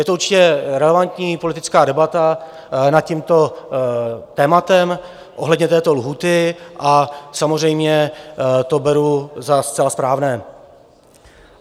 Je to určitě relevantní politická debata nad tímto tématem ohledně této lhůty a samozřejmě to beru za zcela správné.